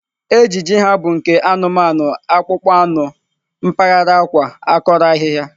Ejiji ha bụ nke anụmanụ akpụkpọ anụ mpaghara akwa, akọrọ ahịhịa.